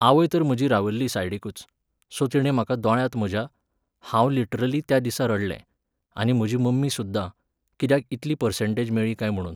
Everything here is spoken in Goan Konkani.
आवय तर म्हजी रावल्ली सायडीकूच, सो तिणें म्हाका दोळ्यांत म्हज्या, हांव लिटरली त्या दिसा रडलें, आनी म्हजी मम्मी सुद्दां, कित्याक इतली पर्सेंटेज मेळ्ळी काय म्हुणून.